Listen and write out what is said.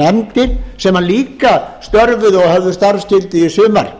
nefndir sem líka störfuðu og höfðu starfsgildi í sumar